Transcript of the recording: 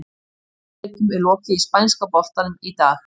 Sex leikjum er lokið í spænska boltanum í dag.